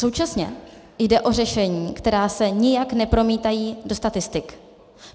Současně jde o řešení, která se nijak nepromítají do statistik.